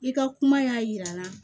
I ka kuma y'a jira n na